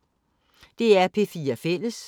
DR P4 Fælles